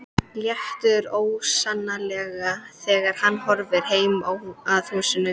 Léttir ólýsanlega þegar hann horfir heim að húsinu.